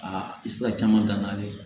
Aa i tɛ se ka caman dan ale ye